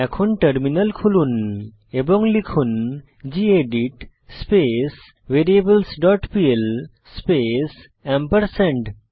এখন টার্মিনাল খুলুন এবং লিখুন gedit space variables dot pl space ampersand